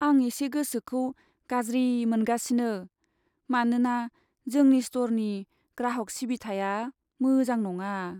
आं एसे गोसोखौ गाज्रि मोनगासिनो मानोना जोंनि स्टरनि ग्राहक सिबिथाया मोजां नङा।